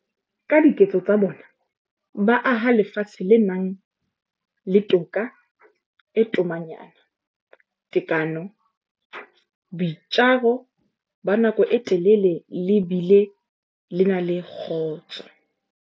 Ka diketso tsa bona, ba aha lefatshe le nang le toka e tomanyana, tekano, boitjaro ba nako e telele le bile le na le kgotso.